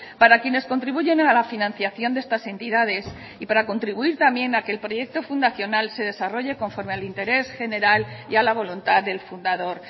para quienes contribuyen a la financiación de estas entidades y para contribuir también a que el proyecto fundacional se desarrolle conforme al interés general y a la voluntad del fundador